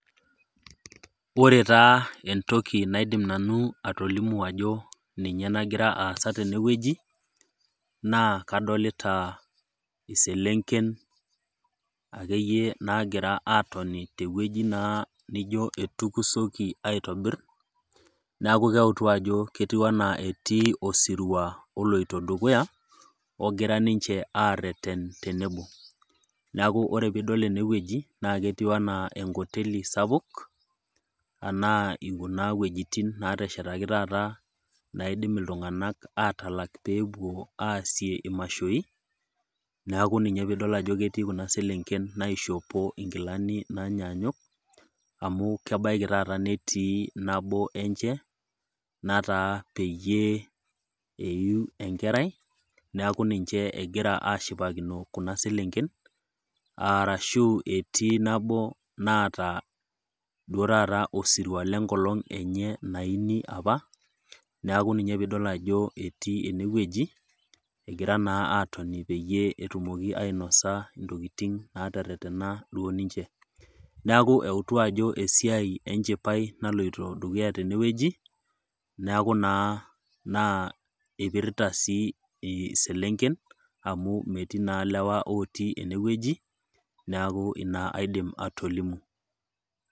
Ore taa entoki naidim nanu atolimu ajo ninye nagira aasa tene wueji, naa kadolita ake iyie iselenken naagira aton naa tewueji naijo iyie etukusoki aitobir, neaku eutu naa ajo ebaiki netii osirua oloito dukuya, ogira ninche areten tenebo. Neaku ore pee idol ene wueji naa ketiu anaa enkoteli sapuk anaa kuna wueitin naateshetaki taata naidim iltung'anak atalak pee epuo aasie imashoi, neaku paa ninye pee idol ajo ketii kuna selenken naishopo inkilani nainyanyuk, amu kebaiki taata netii nabo enye, nataa peyie eyuu enkerai neaku ninche ehira aashipakino kuna selenken, arashu etii nabo naata emasho osirua le enkolong' enye naiuni apa, neaku ninye pee idol ajo etii ene wueji, egira naa atoni peyie etumoki ainosa entokitin naateretena duo ninche, neaku ajo esiai enchipai naloito dukuya tene wueji, neaku naa eipirata sii iselenken amu metii naa ilewa otii ene wueji neaku naa inna aidim atolimu.